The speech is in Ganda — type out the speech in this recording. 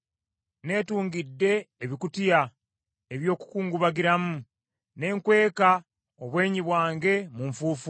“Neetungidde ebikutiya eby’okukungubagiramu, ne nkweka obwenyi bwange mu nfuufu.